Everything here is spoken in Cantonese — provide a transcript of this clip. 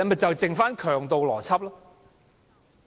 就只剩下強盜邏輯。